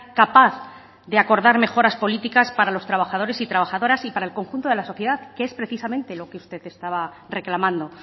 capaz de acordar mejoras políticas para los trabajadores y trabajadoras y para el conjunto de la sociedad que es precisamente lo que usted estaba reclamando